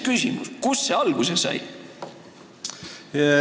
Kust see ikkagi alguse sai?